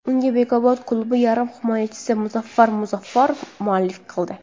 Unga Bekobod klubi yarim himoyachisi Muzaffar Muzaffarov mualliflik qildi.